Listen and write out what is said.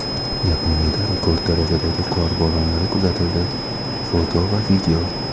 Yaponiyada rekord darajadagi qor bo‘ronlari kuzatildi (foto va video).